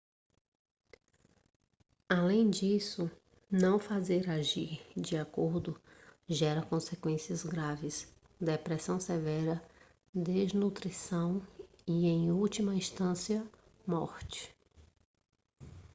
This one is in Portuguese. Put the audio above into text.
além disso não fazer agir de acordo gera consequências graves depressão severa desnutrição e em última instância morte